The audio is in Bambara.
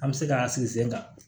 An bɛ se k'an sigi sen kan